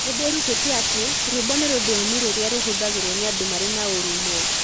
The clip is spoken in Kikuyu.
Nĩ ndĩrutĩte atĩ rwĩmbo nĩ rũthiomi rũrĩa rũhũthagĩrũo nĩ andũ marĩ na ũrũmwe.